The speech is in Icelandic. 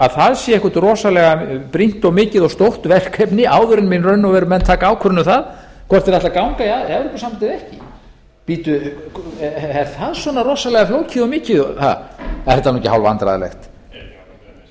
að það sé eitthvert rosalega brýnt og mikið og stórt verkefni áður en í raun og veru menn taka ákvörðun um það hvort þeir ætli að ganga í evrópusambandið eða ekki bíddu er það svona rosaleg flókið og mikið er þetta nú ekki hálfvandræðalegt